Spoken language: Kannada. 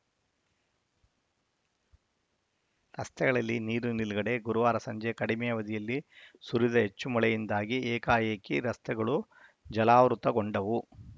ರಸ್ತೆಗಳಲ್ಲಿ ನೀರು ನಿಲುಗಡೆ ಗುರುವಾರ ಸಂಜೆ ಕಡಿಮೆ ಅವಧಿಯಲ್ಲಿ ಸುರಿದ ಹೆಚ್ಚು ಮಳೆಯಿಂದಾಗಿ ಏಕಾಏಕಿ ರಸ್ತೆಗಳು ಜಲಾವೃತಗೊಂಡವು